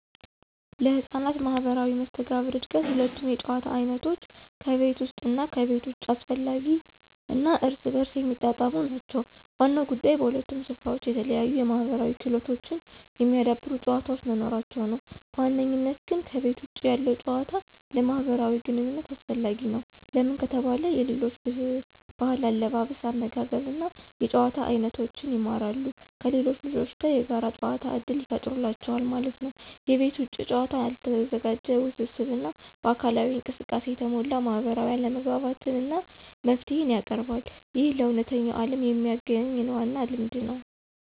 ለሕፃናት ማህበራዊ መስተጋብር እድገት ሁለቱም የጨዋታ አይነቶች (ከቤት ውስጥ እና ከቤት ውጭ) አስፈላጊ እና እርስ በርስ የሚጣጣሙ ናቸው። ዋናው ጉዳይ በሁለቱም ስፍራዎች የተለያዩ የማህበራዊ ክህሎቶችን የሚያዳብሩ ጨዋታዎች መኖራቸው ነው። በዋነኝነት ግን ከቤተ ውጭ ያለው ጭዋታ ለማህብራዊ ግንኝነት አሰፈላጊ ነው። ለምን ከተባለ የሌሎች ብህል አለባበስ አመጋገብ እና የጭዋታ አይኖቶችን ይማራሉ። ከሌሎች ልጆች ጋር የጋር ጨዋታ እድል ይፍጠሩላቸዋል ማለት ነው። የቤት ውጭ ጨዋታ ያልተዘጋጀ፣ ውስብስብ እና በአካላዊ እንቅስቃሴ የተሞላ ማህበራዊ አለመግባባትን እና መፍትሄን ያቀርባል። ይህ ለእውነተኛው ዓለም የሚያግኝ ዋና ልምድ ነው።